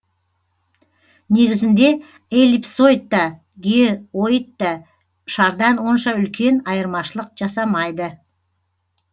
негізінде эллипсоид та геоид та шардан онша үлкен айырмашылық жасамайды